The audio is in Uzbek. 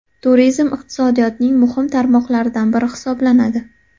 Turizm iqtisodiyotning muhim tarmoqlaridan biri hisoblanadi.